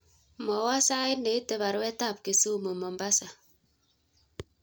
Mwowon sait neite baruetab kisumu mombasa